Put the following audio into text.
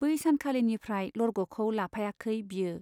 बै सानखालिनिफ्राय लरग'खौ लाफायाखै बियो।